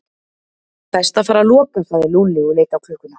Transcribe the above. Best að fara að loka sagði Lúlli og leit á klukkuna.